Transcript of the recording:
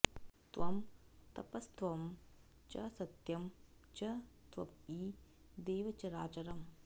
त्वं तपस्त्वं च सत्यं च त्वयि देव चराचरम्